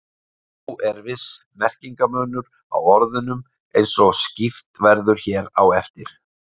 Þó er viss merkingarmunur á orðunum eins og skýrt verður hér á eftir.